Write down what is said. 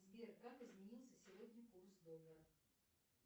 сбер как изменился сегодня курс доллара